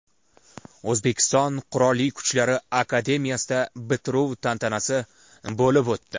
O‘zbekiston Qurolli Kuchlar akademiyasida bitiruv tantanasi bo‘lib o‘tdi .